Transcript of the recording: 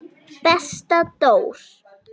Besta Dór.